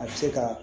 A bɛ se ka